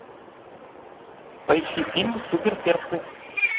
поищи фильм супер перцы